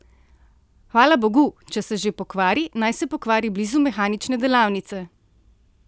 Hvala bogu, če se že pokvari, naj se pokvari blizu mehanične delavnice!